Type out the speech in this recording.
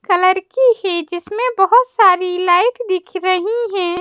Colour की है जिसमें बहुत सारी लाइट दिख रही है।